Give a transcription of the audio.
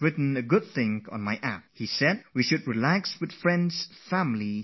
He wrote on my app that we should spend half an hour every day with friends and family to feel relaxed